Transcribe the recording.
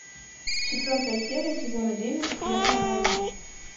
четвертая серия сезона девять первая волна